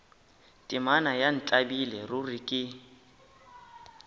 temana ya ntlabile ruri ke